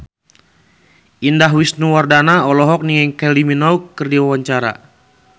Indah Wisnuwardana olohok ningali Kylie Minogue keur diwawancara